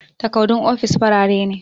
Takardun ofis farare ne